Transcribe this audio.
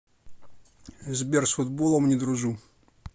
сбер с футболом не дружу